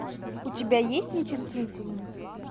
у тебя есть нечувствительный